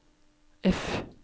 F